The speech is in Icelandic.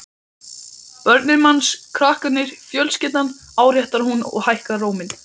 Börnin manns, krakkarnir, fjölskyldan, áréttar hún og hækkar róminn.